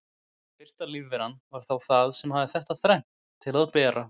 Fyrsta lífveran var þá það sem hafði þetta þrennt til að bera.